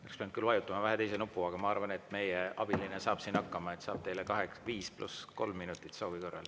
Oleks küll pidanud vajutama vähe teist nuppu, aga ma arvan, et meie abiline saab siin hakkama, et saab teile kaheksa, viis pluss kolm minutit soovi korral.